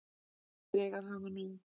Allir eiga að hafa nóg.